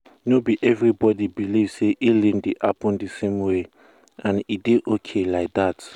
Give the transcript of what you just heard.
no be everybody believe say healing dey happen the same way and e still dey okay like that.